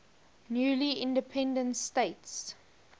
newly independent states